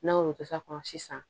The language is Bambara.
N'an y'olu kɛ sa kɔnɔ sisan